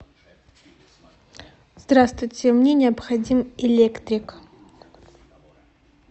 здравствуйте мне необходим электрик